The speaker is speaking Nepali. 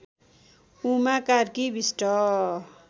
उमा कार्की विष्ट